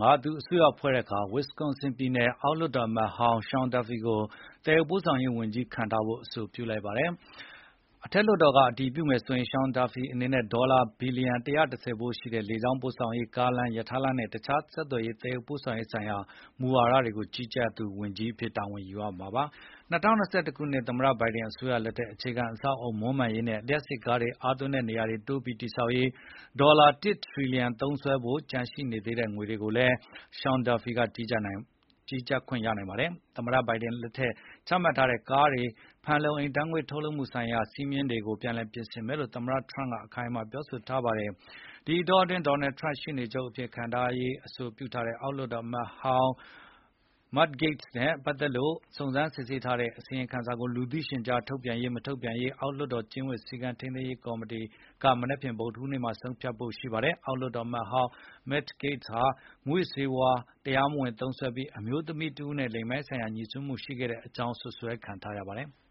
က သူအစိုးရဖွဲ့တဲ့အခါ Winsconsin ပြည်နယ် အောက်လွှတ်တော်အမတ်ဟောင်း Sean Duffy ကို သယ်ယူပို့ဆောင်ရေးဝန်ကြီးခန့်ထားဖို့ အဆိုပြုလိုက်ပါတယ်။ အထက်လွှတ်တော်က အတည်ပြုမယ်ဆိုရင် Sean Duffy အနေနဲ့ ဒေါ်လာ သန်းဘီလျံ ၁၁၀ ဖိုးရှိတဲ့ လေကြောင်းပို့ဆောင်ရေး၊ ကားလမ်း၊ ရထားလမ်းနဲ့ တခြား သယ်ယူပို့ဆောင်ရေး ဆိုင်ရာ မူဝါဒတွေကို ကြီးကြပ်တဲ့ ဝန်ကြီးအဖြစ် တာဝန်ယူမှာဖြစ်ပါတယ်။ ၂၀၂၁ ခုနှစ် သမ္မတ Biden အစိုးရလက်ထက် အခြေခံ အဆောက်အအုံ မွမ်းမံရေးနဲ့ လျှပ်စစ်ကားတွေ အားသွင်းတဲ့နေရာတွေ တိုးပြီး တည်ဆောက်ရေး ဒေါ်လာ တစ်ထရီလျံ သုံးစွဲဖို့ ကျန်နေသေးတဲ့ ငွေတွေတွေကိုလည်း Sean Duffy ကြီးကြပ်နိုင်ပါတယ်။ သမ္မတ Biden လက်ထက်ကချမှတ်ထားတဲ့ ကားတွေ ဖန်လုံအိမ်ဓါတ်ငွေ့ ထုတ်လုပ်မှုဆိုင်ရာ စည်းမျဉ်း တွေကို ပြန်ပြင်မယ်လို့ Trump က အခိုင်အမာ ပြောထားပါတယ်။ ဒီအတောအတွင်း Donald Trump က ရှေ့နေချုပ်အဖြစ်ခန့်ဖို့အဆိုပြုထားတဲ့ အောက်လွှတ်တော်အမတ်ဟောင်း Matt Gaetz (မတ် ဂိတ်စ်) နဲ့ ပတ်သက်လို့ စုံစမ်းစစ်ဆေးထားတဲ့အစီရင်ခံစာကို လူသိရှင်ကြား ထုတ်ပြန်ရေး မထုတ်ပြန်ရေး အောက်လွှတ်တော် ကျင့်ဝတ်စည်းကမ်းထိန်းသိမ်းရေးကော်မတီက မနက်ဖြန် ဗုဒ္ဓဟူးနေ့မှာ ဆုံးဖြတ်ဖို့ ရှိပါတယ်။ အောက်လွှတ်တော်အမတ်ဟောင်း Matt Gaetz ဟာ မူးယစ်ဆေး တရားမဝင်သုံးစွဲပြီး အမျိုးသမီးတဦးနဲ့ လိင်ပိုင်းဆိုင်ရာငြိစွန်းမှုရှိခဲ့ကြောင်း စွပ်စွဲခံထားရပါတယ်။